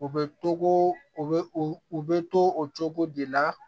U bɛ to u bɛ u bɛ to o cogo de la